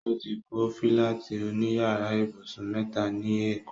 O ti kọ́ fílátì òní yàrá ibùsùn mẹ́ta ní èkó